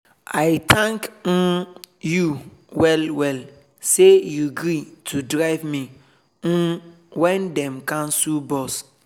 i thank um you well well say you gree to drive me um when dem cancel bus.